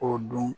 O don